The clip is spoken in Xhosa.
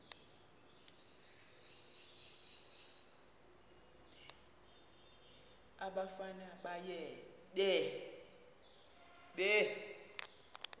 umfana baye bee